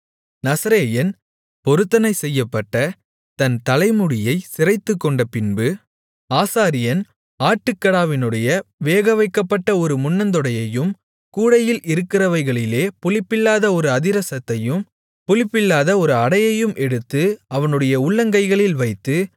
நசரேயன் பொருத்தனை செய்யப்பட்ட தன் தலைமுடியைச் சிரைத்துக்கொண்டபின்பு ஆசாரியன் ஆட்டுக்கடாவினுடைய வேகவைக்கப்பட்ட ஒரு முன்னந்தொடையையும் கூடையில் இருக்கிறவைகளிலே புளிப்பில்லாத ஒரு அதிரசத்தையும் புளிப்பில்லாத ஒரு அடையையும் எடுத்து அவனுடைய உள்ளங்கைகளில் வைத்து